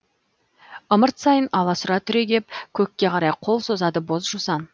ымырт сайын аласұра түрегеп көкке қарай қол созады боз жусан